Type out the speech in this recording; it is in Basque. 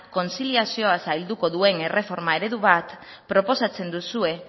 kontziliazio zailduko duen erreforma eredu bat proposatzen duzue